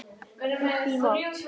Upp í mót.